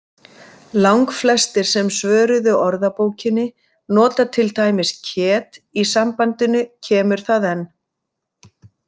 Langflestir sem svöruðu Orðabókinni nota til dæmis kjet í sambandinu kemur það enn.